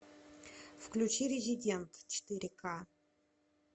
включи резидент четыре ка